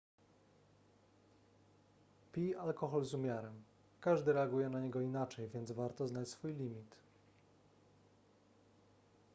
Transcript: pij alkohol z umiarem każdy reaguje na niego inaczej więc warto znać swój limit